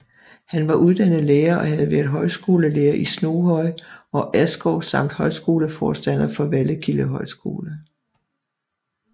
Han var uddannet lærer og havde været højskolelærer i Snoghøj og Askov samt højskoleforstander for Vallekilde Højskole